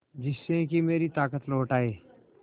जिससे कि मेरी ताकत लौट आये